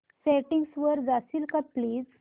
settings वर जाशील का प्लीज